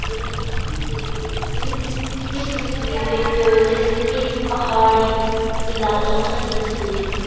देख रहे हैं ये जो तस्वीर है ये तस्वीर एक जैसे कि पहाड़ी इलाके की तस्वीर है।